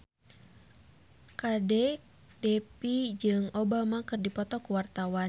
Kadek Devi jeung Obama keur dipoto ku wartawan